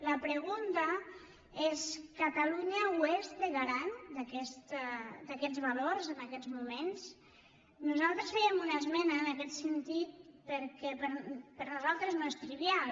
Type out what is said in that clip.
la pregunta és catalunya ho és de garant d’aquests valors en aquests moments nosaltres fèiem una esmena en aquest sentit perquè per nosaltres no és trivial